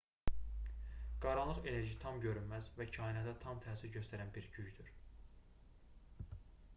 qaranlıq enerji tam görünməz və kainata daim təsir göstərən bir gücdür